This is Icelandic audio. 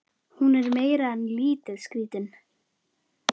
Hún er meira en lítið skrítin.